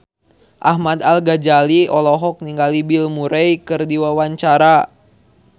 Ahmad Al-Ghazali olohok ningali Bill Murray keur diwawancara